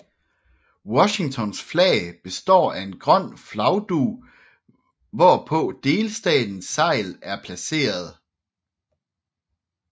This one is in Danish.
Washingtons flag består af en grøn flagdug hvorpå delstatens segl er placeret